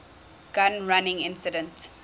gun running incident